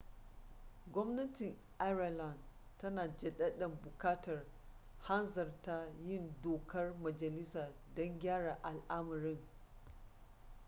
gwamnatin ireland tana jaddada buƙatar hanzarta yin dokar majalisa don gyara al'amarin